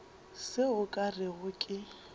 seo o ka rego ke